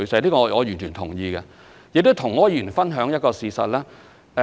這點我完全同意。我想跟柯議員分享一個事實。